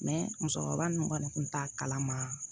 musokɔrɔba ninnu kɔni kun t'a kalama